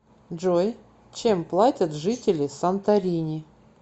джой чем платят жители санторини